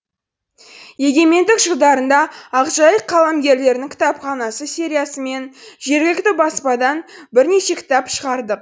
егемендік жылдарында ақжайық қаламгерлерінің кітапханасы сериясымен жергілікті баспадан бірнеше кітап шығардық